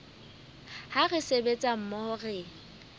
ha re sebetsa mmoho re